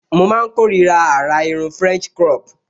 Mo máa n kórira àrà irun french crop